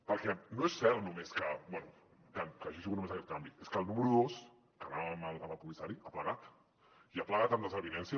perquè no és cert només que bé que hagi sigut només aquest canvi és que el número dos que anava amb el comissari ha plegat i ha plegat amb desavinences